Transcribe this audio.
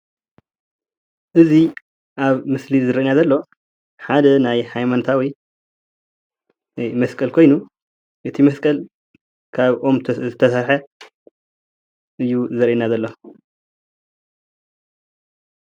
እዚ ኣብ ምስሊ ዝረአየና ዘሎ ሓደ ናይ ሃይማኖታዊ መስቀል ኮይኑ እቲ መስቀል ካብ ኦም ዝተሰርሐ እዩ ዘርእየና ዘሎ፡፡